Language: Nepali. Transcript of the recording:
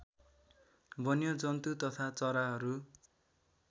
वन्यजन्तु तथा चराहरू